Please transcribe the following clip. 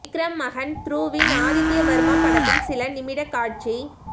விக்ரம் மகன் துருவ்வின் ஆதித்ய வர்மா படத்தின் சில நிமிட காட்சி